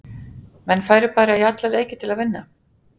Menn færu bara í alla leiki til að vinna.